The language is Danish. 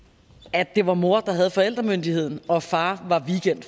at det var mor der havde forældremyndigheden og far